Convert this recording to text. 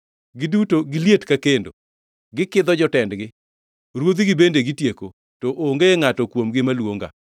Giduto giliet ka kendo, gikidho jotendgi. Ruodhigi bende gitieko, to onge ngʼato kuomgi maluonga.